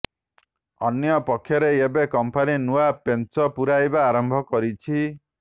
ଅନ୍ୟପକ୍ଷରେ ଏବେ କଂପାନି ନୂଆ ପେଞ୍ଚ ପୁରାଇବା ଆରମ୍ଭ କରିଛି